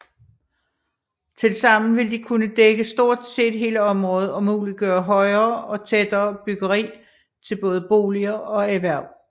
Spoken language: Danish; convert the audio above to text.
Tilsammen vil de kunne dække stort set hele området og muliggøre højere og tættere byggeri til både boliger og erhverv